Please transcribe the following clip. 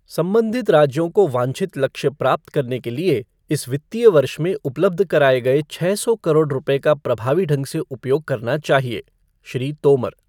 संबंधित राज्यों को वांछित लक्ष्य प्राप्त करने के लिए इस वित्तीय वर्ष में उपलब्ध कराए गए छः सौ करोड़ रुपये का प्रभावी ढंग से उपयोग करना चाहिए श्री तोमर।